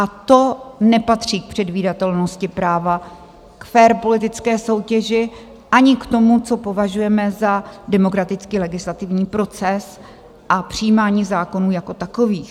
A to nepatří k předvídatelnosti práva, k fér politické soutěži ani k tomu, co považujeme za demokratický legislativní proces a přijímání zákonů jako takových.